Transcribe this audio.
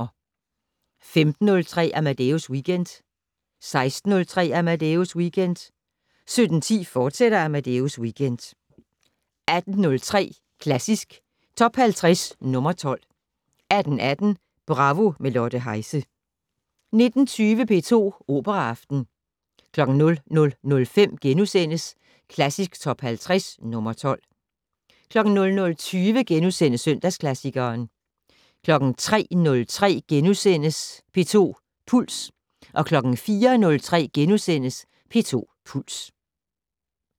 15:03: Amadeus Weekend 16:03: Amadeus Weekend 17:10: Amadeus Weekend, fortsat 18:03: Klassisk Top 50 - nr. 12 18:18: Bravo - med Lotte Heise 19:20: P2 Operaaften 00:05: Klassisk Top 50 - nr. 12 * 00:20: Søndagsklassikeren * 03:03: P2 Puls * 04:03: P2 Puls *